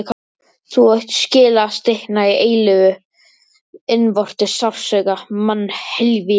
Þú átt skilið að stikna í eilífum innvortis sársauka, mannhelvíti.